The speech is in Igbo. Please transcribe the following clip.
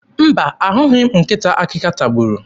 Mba, ahụghị m nkịta ahụ akịka tagburu.